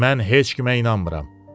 Mən heç kimə inanmıram.